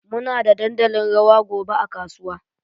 Muna da dandalin rawa gobe a kasuwa.